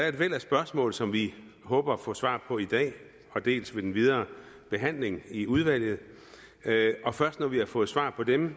et væld af spørgsmål som vi håber at få svar på i dag og ved den videre behandling i udvalget det er først når vi har fået svar på dem